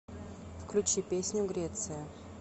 включи песню греция